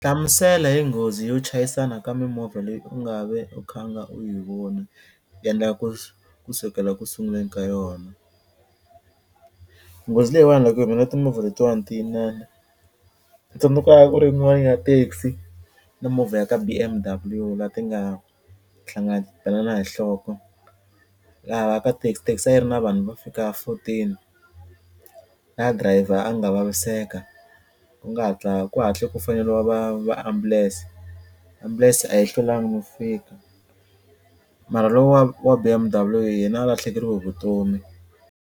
Hlamusela hi nghozi yo chayisana ka mimovha leyi u nga ve u khanga u yi vona yendla kusukela ku sunguleni ka yona, nghozi leyiwani loko yi humelela timovha letiwani ti inani tsundzuka ku ri yin'wani ya taxi na movha ya ka B_M_W la ti nga hlangana ti belana hi nhloko laha ka taxi taxi a yi ri na vanhu vo fika fourteen laha driver a nga vaviseka ku nga hatla ku hatle ku faneliwa va va ambulense ambulense a yi hlwelanga no fika mara lowa wa B_M_W yena a lahlekeriwe hi vutomi.